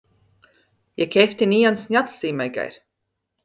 Ég keypti nýjan snjallsíma í gær.